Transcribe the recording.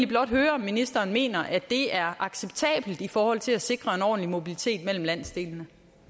blot høre om ministeren mener at det er acceptabelt i forhold til at sikre en ordentlig mobilitet mellem landsdelene